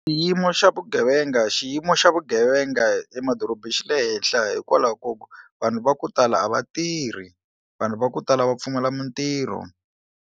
Xiyimo xa vugevenga xiyimo xa vugevenga emadorobeni xi le henhla hikwalaho ka ku vanhu va ku tala a va tirhi vanhu va ku tala va pfumala mitirho.